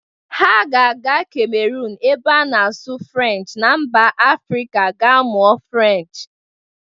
Ha ga-aga Kamerunu ebe a na-asụ Furencshị na mba Afịrịka ga-amuọ Furenshị.